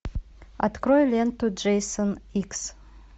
открой ленту джейсон икс